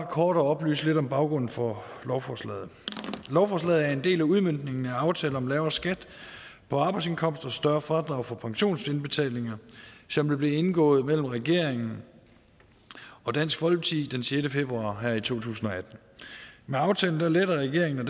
kort at oplyse lidt om baggrunden for lovforslaget lovforslaget er en del af udmøntningen af aftalen om lavere skat på arbejdsindkomst og større fradrag for pensionsindbetalinger som er blevet indgået mellem regeringen og dansk folkeparti den sjette februar her i to tusind og atten med aftalen letter regeringen og